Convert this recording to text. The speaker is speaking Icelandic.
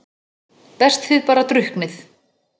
Best þið bara drukknið.